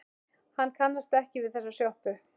Hann kannast ekki við þessa sjoppu.